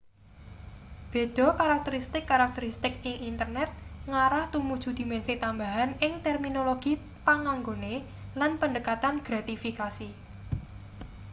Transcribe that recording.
beda karakteristik-karakteristik ing internet ngarah tumuju dimensi tambahan ing terminologi panganggone lan pendekatan gratifikasi